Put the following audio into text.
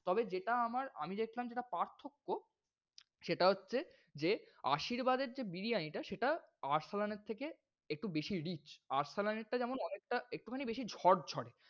তবে যেটা আমার আমি চেয়েছিলাম যেটা পার্থক্য, সেটা হচ্ছে যে আশীর্বাদ এর যে বিরিয়ানি এটা সেটা আরসালান এর থেকে একটু বেশিই rich । আরসালান এর টা যেমন অনেকটা একটুখানি বেশি ঝরঝরে।